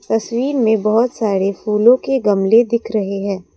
तस्वीर में बहुत सारे फूलों के गमले दिख रहे हैं।